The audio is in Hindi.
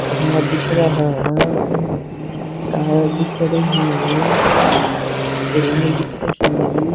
खम्बा दिख रहा हा है तार दिख रही ही है रेलिंग दिख रही।